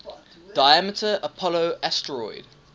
diameter apollo asteroid